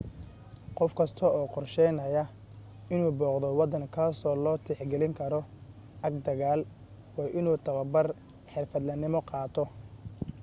qof kasta oo qorsheynaya inuu booqdo waddan kaasoo loo tixgelin karo aag dagaal waa inuu tababar xirfadlenimo qaato